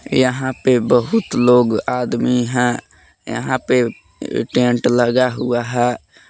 यहां पे बहुत लोग आदमी है यहां पे टेंट लगा हुआ है।